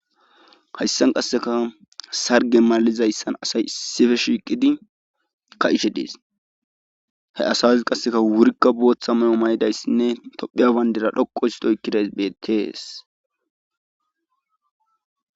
hayssan qasseka sarge maalizayssan asay issife shiiqidi ka ishe dees he asaazi qasseka wurikka booththa me7o may7idayssinne tophiyabandira dhoqo hisdoykkidays beettees